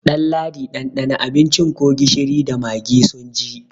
Ɗalladi ɗanɗana abincin ko gishiri da magi sun ji!